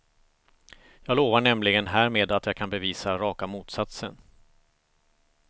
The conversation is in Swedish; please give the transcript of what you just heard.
Jag lovar nämligen härmed att jag kan bevisa raka motsatsen.